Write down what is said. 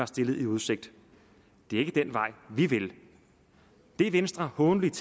stillet i udsigt det er ikke den vej vi vil det venstre hånligt